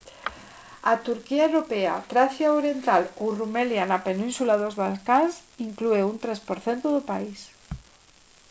a turquía europea tracia oriental ou rumelia na península dos balcáns inclúe un 3 % do país